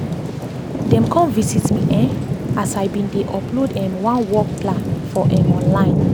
dem come visit me um as i been dey upload um one work plan for um online